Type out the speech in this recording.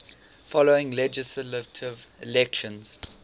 following legislative elections